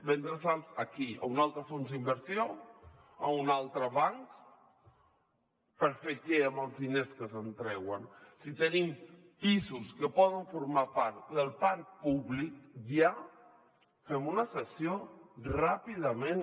vendre’ls a qui a un altre fons d’inversió a un altre banc per fer què amb els diners que se’n treuen si tenim pisos que poden formar part del parc públic ja fem una cessió ràpidament